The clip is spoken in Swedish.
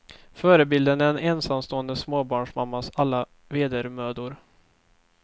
Förebilden är en ensamstående småbarnsmammas alla vedermödor.